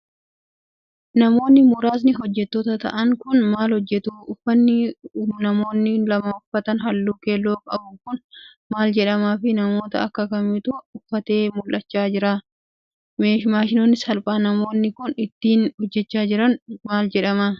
Namoonni muraasni hojjattoota ta'an kun, maal hojjatu? Uffanni namoonni lama uffatan haalluu keelloo qaabu kun, maal jedhama fi namoota akka kamiitu uffatee mul'achaa jira? Maashinni salphaa namoonni kun, ittiin hojjachaa jiran maal jedhama? Faayidaan isaa hoo maali?